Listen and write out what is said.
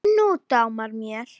Nú dámar mér!